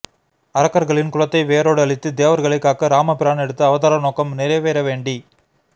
அரக்கர்களின் குலத்தை வேரோடு அழித்துத் தேவர்களைக் காக்க இராமபிரான் எடுத்த அவதார நோக்கம் நிறைவேற வேண்டி